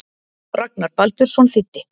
Ragnar Baldursson þýddi.